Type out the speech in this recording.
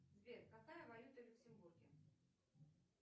сбер какая валюта в люксембурге